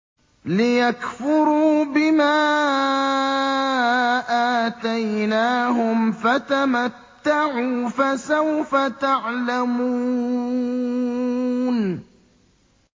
لِيَكْفُرُوا بِمَا آتَيْنَاهُمْ ۚ فَتَمَتَّعُوا ۖ فَسَوْفَ تَعْلَمُونَ